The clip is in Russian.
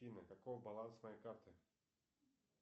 афина каков баланс моей карты